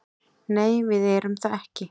Nei, við erum það ekki